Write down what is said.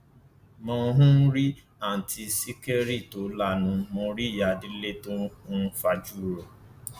mo um rí àùntí ṣìkẹrì tó lanu mọ rí ìyá délé tó um fajú ro